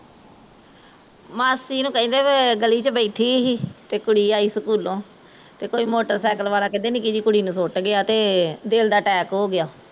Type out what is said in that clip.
ਮਾਸੀ ਨੂ ਕਹਿੰਦੇ ਵੇ ਗਲੀ ਚ ਬੈਠੀ ਸੀ ਤੇ ਕੁੜੀ ਆਈ ਸਕਹੂਲੋ ਤੇ ਕੋਈ motorcycle ਵਾਲਾ ਕਹਿੰਦੇ ਨਿੱਕੀ ਜਹੀ ਕੁੜੀ ਨੂ ਸੁੱਟ ਗਿਆ ਤੇ ਦਿਲ ਦਾ attack ਹੋਗਿਆ